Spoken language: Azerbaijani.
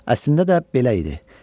Əslində də belə idi.